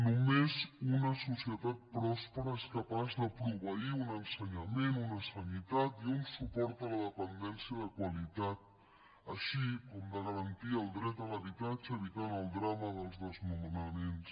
només una societat pròspera és capaç de proveir un ensenyament una sanitat i un suport a la dependència de qualitat així com de garantir el dret a l’habitatge i evitar el drama dels desnonaments